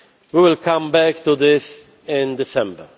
We will come back to this in December.